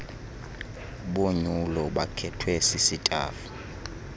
bonyulo bakhethwe sisitafu